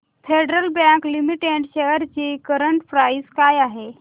federal Bank Limited shares ची current price काय आहे